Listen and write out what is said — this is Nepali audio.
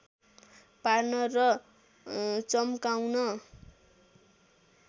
पार्न र च्म्काउन